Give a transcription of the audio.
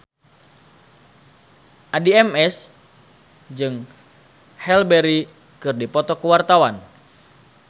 Addie MS jeung Halle Berry keur dipoto ku wartawan